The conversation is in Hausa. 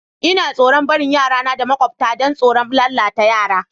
N'na tsoron barin yara na da maƙwabcta dan tsoron lalatan yara.